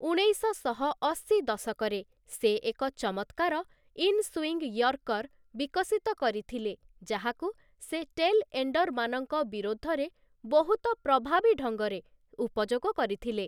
ଉଣେଇଶଶହ ଅଶି ଦଶକରେ ସେ ଏକ ଚମତ୍କାର ଇନସୁଇଙ୍ଗ୍ ୟର୍କର ବିକଶିତ କରିଥିଲେ, ଯାହାକୁ ସେ ଟେଲ୍‌ ଏଣ୍ଡର୍‌ମାନଙ୍କ ବିରୋଧରେ ବହୁତ ପ୍ରଭାବୀ ଢଙ୍ଗରେ ଉପଯୋଗ କରିଥିଲେ ।